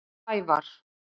Sævar